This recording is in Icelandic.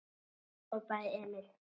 hrópaði Emil.